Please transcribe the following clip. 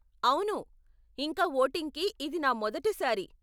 అవును, ఇంకా వోటింగ్ కి ఇది నా మొదటి సారి .